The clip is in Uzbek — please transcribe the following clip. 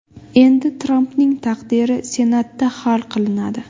Endi Trampning taqdiri Senatda hal qilinadi.